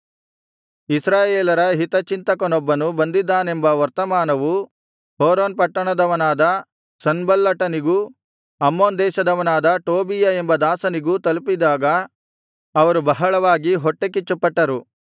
ಇಸ್ರಾಯೇಲರ ಹಿತಚಿಂತಕನೊಬ್ಬನು ಬಂದಿದ್ದಾನೆಂಬ ವರ್ತಮಾನವು ಹೋರೋನ್ ಪಟ್ಟಣದವನಾದ ಸನ್ಬಲ್ಲಟನಿಗೂ ಅಮ್ಮೋನ್ ದೇಶದವನಾದ ಟೋಬೀಯ ಎಂಬ ದಾಸನಿಗೂ ತಲುಪಿದಾಗ ಅವರು ಬಹಳವಾಗಿ ಹೊಟ್ಟೆಕಿಚ್ಚುಪಟ್ಟರು